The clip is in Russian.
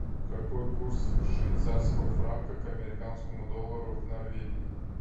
какой курс швейцарского франка к американскому доллару в норвегии